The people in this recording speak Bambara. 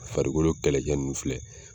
Farikolo kɛlɛcɛ ninnu filɛ